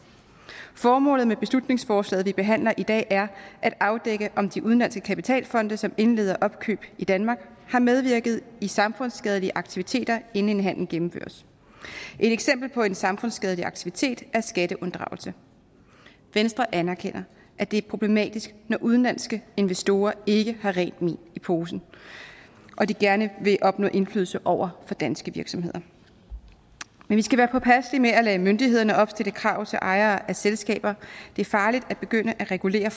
formålet med beslutningsforslaget vi behandler i dag er at afdække om de udenlandske kapitalfonde som indleder opkøb i danmark har medvirket i samfundsskadelige aktiviteter inden en handel gennemføres et eksempel på en samfundsskadelig aktivitet er skatteunddragelse venstre anerkender at det er problematisk når udenlandske investorer ikke har rent mel i posen og de gerne vil opnå indflydelse over for danske virksomheder men vi skal være påpasselige med at lade myndighederne opstille krav til ejere af selskaber det er farligt at begynde at regulere